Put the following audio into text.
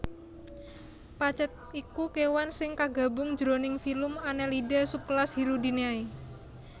Pacet iku kéwan sing kagabung jroning filum Annelida subkelas Hirudinea